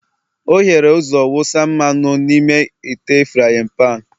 o hiere ụzọ wụsa mmanụ n'ime ite frying